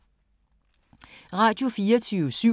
Radio24syv